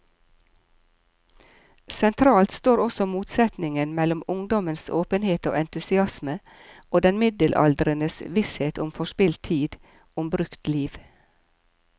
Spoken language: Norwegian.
Sentralt står også motsetningen mellom ungdommens åpenhet og entusiasme og den middelaldrendes visshet om forspilt tid, om brukt liv.